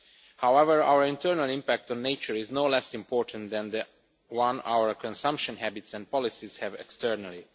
However, our internal impact on nature is no less important than the one which our consumption habits and policies have externally.